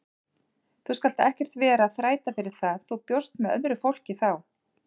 Þú skalt ekkert vera að þræta fyrir það, þú bjóst með öðru fólki þá!